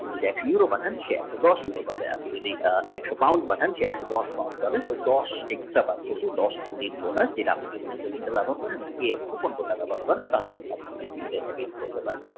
আপনি যদি একশ euro পাঠান সে দশ euro পাবে একশ Pound পাঠান সে একশদশ Pound পাবে মানে দশ extra আপনি যদি এখানে যদি coupon